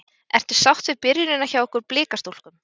Ertu sátt við byrjunina hjá ykkur Blikastúlkum?